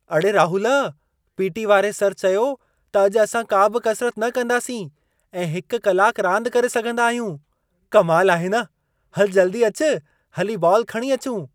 अड़े राहुल, पी.टी. वारे सर चयो त अॼु असां काबि कसरत न कंदासीं ऐं 1 कलाकु रांदि करे सघंदा आहियूं! कमाल आहे न! हल जल्दी अचु, हली बॉलु खणी अचूं।